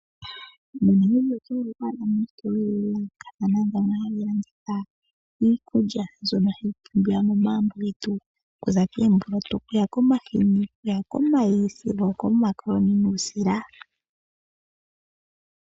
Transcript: MoNamibia oto vulu oku adha mo oositola odhindji dha yoolokathana ndhono hadhi landitha iikulya mbyono hayi pumbiwa momagumbo getu, okuza koomboloto, omahini, omayi sigo okomakoloni nuusila.